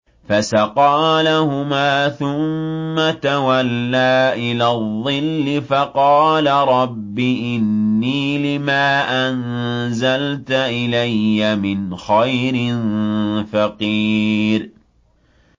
فَسَقَىٰ لَهُمَا ثُمَّ تَوَلَّىٰ إِلَى الظِّلِّ فَقَالَ رَبِّ إِنِّي لِمَا أَنزَلْتَ إِلَيَّ مِنْ خَيْرٍ فَقِيرٌ